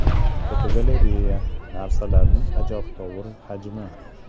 Fotogalereya: Narsalarning ajabtovur hajmi.